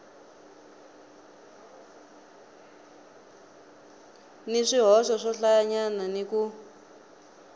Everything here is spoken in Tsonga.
ni swihoxo swohlayanyana ni ku